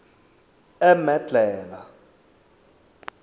emedlhela